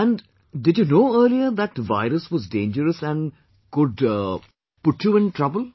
And did you know earlier that virus was dangerous and could put you in trouble